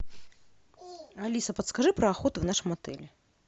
алиса подскажи про охоту в нашем отеле